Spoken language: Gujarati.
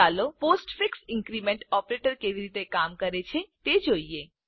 ચાલો પોસ્ટફિક્સ ઇન્ક્રીમેન્ટ ઓપરેટર કેવી રીતે કામ કરે છે તે જોઈએ